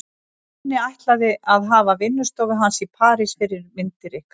Nonni ætlið að hafa vinnustofu hans í París fyrir myndir ykkar.